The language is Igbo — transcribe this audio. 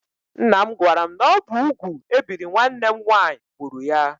Ńnà m gwara m na ọ bụ úgwú ebiri nwanne m nwaanyị gbúrù ya.